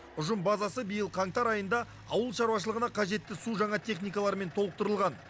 ұжым базасы биыл қаңтар айында ауыл шаруашылығына қажетті су жаңа техникалармен толықтырылған